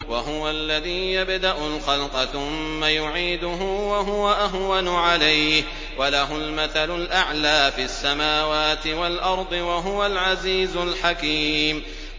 وَهُوَ الَّذِي يَبْدَأُ الْخَلْقَ ثُمَّ يُعِيدُهُ وَهُوَ أَهْوَنُ عَلَيْهِ ۚ وَلَهُ الْمَثَلُ الْأَعْلَىٰ فِي السَّمَاوَاتِ وَالْأَرْضِ ۚ وَهُوَ الْعَزِيزُ الْحَكِيمُ